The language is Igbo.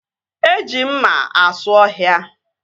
Eji mma asụ ọhịa